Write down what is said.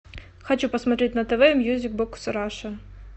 хочу посмотреть на тв мьюзик бокс раша